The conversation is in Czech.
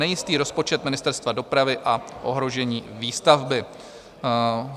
Nejistý rozpočet Ministerstva dopravy a ohrožení výstavby.